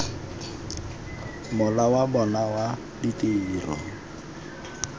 mola wa bona wa ditiro